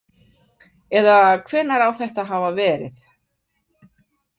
Eða hvenær á þetta að hafa verið?